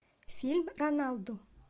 фильм роналду